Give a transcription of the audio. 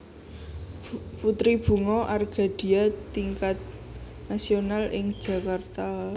Putri Bunga Argadia Tingkat Nasional ing Jakarta